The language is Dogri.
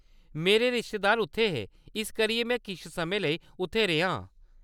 मेरे रिश्तेदार उत्थै हे, इस करियै में किश समें लेई उत्थै रेहा आं।